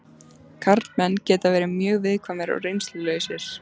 Karlmenn geta verið mjög viðkvæmir og reynslulausir.